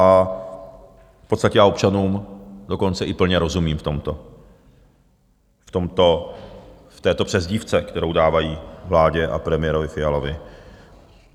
A v podstatě já občanům dokonce i plně rozumím v tomto, v této přezdívce, kterou dávají vládě a premiérovi Fialovi.